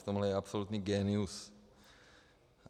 V tom je absolutní génius.